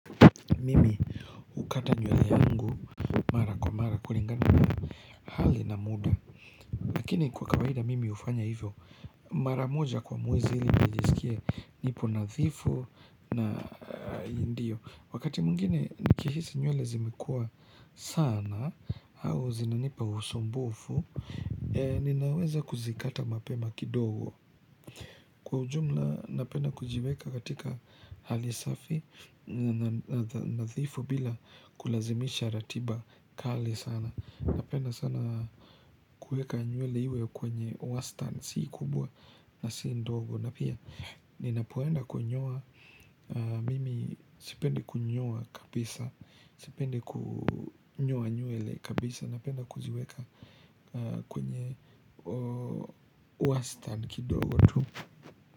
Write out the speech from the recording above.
Mimi hukata nyewele yangu mara kwa mara kulingana na hali na muda Lakini kwa kawaida mimi ufanya hivyo mara moja kwa mwezi ili nijesikia nipo nadhifu na ndiyo Wakati mwingine nikihisi nyewele zimekua sana au zinanipa usumbufu Ninaweza kuzikata mapema kidogo Kwa ujumla napenda kujiweka katika hali safi nadhifu bila kulazimisha ratiba kali sana Napenda sana kuweka nywele iwe kwenye wastan si kubwa na si ndogo na pia ninapoenda kunyoa mimi sipendi kunyoa kabisa Sipendi kunyoa nywele kabisa Napenda kuziweka kwenye wastani kidogo tu.